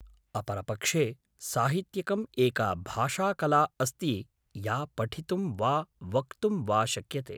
अपरपक्षे, साहित्यिकम् एका भाषाकला अस्ति या पठितुं वा वक्तुं वा शक्यते।